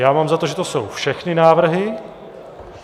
Já mám za to, že to jsou všechny návrhy.